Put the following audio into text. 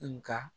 Nka